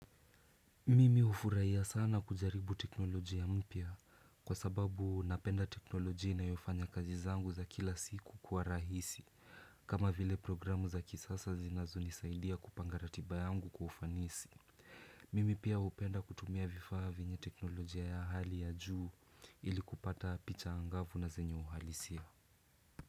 Mimi ufuraiya sana kujaribu tekinolojia mpya kwa sababu napenda tekinolojia inayofanya kazi zangu za kila siku kwa rahisi. Kama vile programu za kisasa zinazonisaidia kupanga ratiba yangu kwa ufanisi. Mimi pia hupenda kutumia vifaa vyenye tekinolojia ya hali ya juu ili kupata picha angavu na zenye uhalisia.